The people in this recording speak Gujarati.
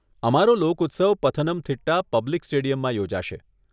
અમારો લોક ઉત્સવ પથનમથિટ્ટા પબ્લિક સ્ટેડિયમમાં યોજાશે.